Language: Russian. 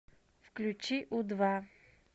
включи у два